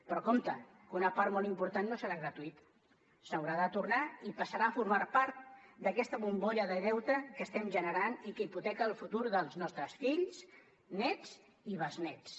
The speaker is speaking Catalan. però compte que una part molt important no serà gratuïta s’haurà de tornar i passarà a formar part d’aquesta bombolla de deute que estem generant i que hipoteca el futur dels nostres fills nets i besnets